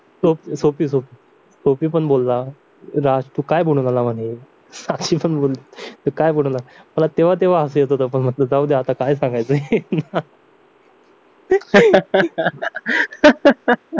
Sophie Sophie Sophie पण बोलला राज तूकाय बनून आला म्हणे साक्षी पण बोलली काय बनून आला मला तेव्हा हसू येत होतं पण म्हटलं जाऊ दे आता काय सांगायचं याला